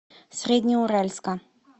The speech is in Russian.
среднеуральска